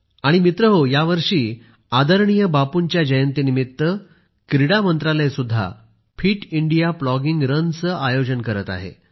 आणि मित्रहो यावर्षी आदरणीय बापूंच्या जयंतीनिमित्त क्रीडा मंत्रालय सुद्धा फिट इंडिया प्लॉगिंग रनचे आयोजन करत आहे